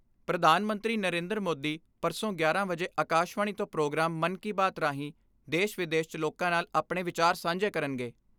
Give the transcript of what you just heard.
ਪੁਧਾਨ ਮੰਤਰੀ ਨਰਿੰਦਰ ਮੋਦੀ ਪਰਸੋ' 11 ਵਜੇ ਆਕਾਸ਼ਵਾਣੀ ਤੋਂ ਪ੍ਰੋਗਰਾਮ 'ਮਨ ਕੀ ਬਾਤ' ਰਾਹੀਂ ਦੇਸ਼ ਵਿਦੇਸ਼ 'ਚ ਲੋਕਾਂ ਨਾਲ ਆਪਣੇ ਵਿਚਾਰ ਸਾਂਝੇ ਕਰਨਗੇ।